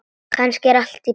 Kannski er allt í plati.